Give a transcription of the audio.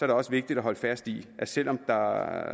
det også vigtigt at holde fast i at selv om der